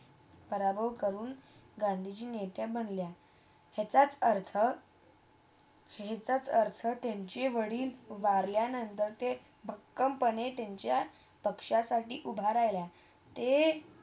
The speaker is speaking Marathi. पराभव कडून. गांधीजी नेत्या बनल्या. याचा अर्थ याचा अर्थ त्यांचे वाडिल वाढल्यानंदोके पक्कम पणे त्यांच्या पक्षसाठी उभा राहिला ते